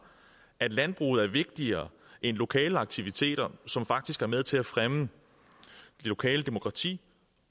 at landbruget er vigtigere end lokale aktiviteter som faktisk er med til at fremme det lokale demokrati